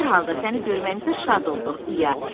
Hər halda səni görməyimizə şad olduq, İya.